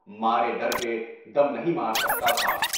مارے ڈر کے دم نہیں مار سکتا تھا۔